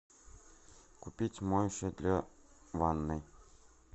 купить моющее для ванной